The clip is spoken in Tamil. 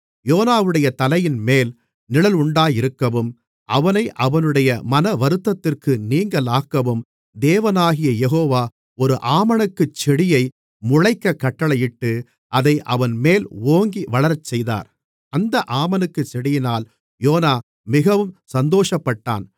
யோனாவுடைய தலையின்மேல் நிழலுண்டாயிருக்கவும் அவனை அவனுடைய மனவருத்தத்திற்கு நீங்கலாக்கவும் தேவனாகிய யெகோவா ஒரு ஆமணக்குச்செடியை முளைக்கக் கட்டளையிட்டு அதை அவன்மேல் ஓங்கி வளரச்செய்தார் அந்த ஆமணக்குச் செடியினால் யோனா மிகவும் சந்தோஷப்பட்டான்